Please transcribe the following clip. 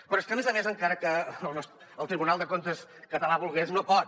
però és que a més a més encara que el tribunal de comptes català volgués no pot